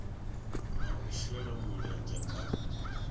na u shela mulenzhe kha